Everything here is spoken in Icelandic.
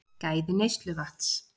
Gæði neysluvatns